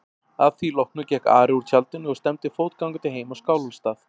Að því loknu gekk Ari úr tjaldinu og stefndi fótgangandi heim á Skálholtsstað.